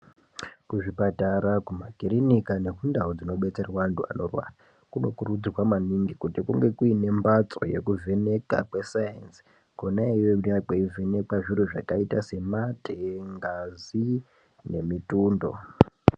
Kuzvipatara, kumakirinika nekundau dzinobetserwa antu anorwara, kunokurudzirwa maningi kuti kunge kuine mbatso yekuvheneka kwesainzi, kona iyoyo kunonga kweivhenekwa zviro zvakaita semate, ngazi nemitundo.